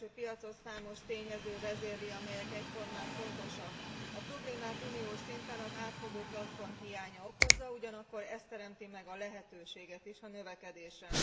A belső piacot számos tényező vezérli, amelyek egyformán fontosak. A problémát uniós szinten az átfogó platform hiánya okozza, ugyanakkor ez teremti meg a lehetőséget is a növekedésre.